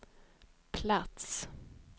plats